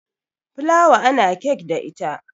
fulawa ana kek da ita